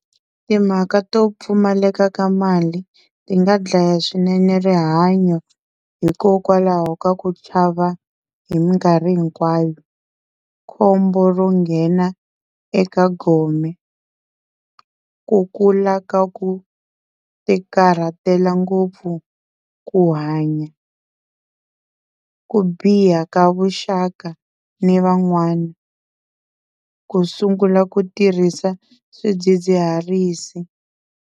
Timhaka to pfumaleka ka mali ti nga dlaya swinene rihanyo hikokwalaho ka ku chava hi minkarhi hinkwayo, khombo ro nghena eka gome, ku kula ka ku tikarhatela ngopfu ku hanya, ku biha ka vuxaka ni van'wana, ku sungula ku tirhisa swidzidziharisi.